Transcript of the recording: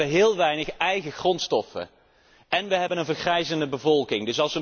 We hebben heel weinig eigen grondstoffen en we hebben een vergrijzende bevolking.